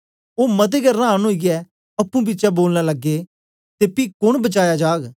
ओ मते गै रांन ओईयै अप्पुं बिचै बोलन लगे ते पी कोन बचाया जाग